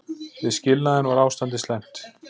Við skilnaðinn var ástandið slæmt.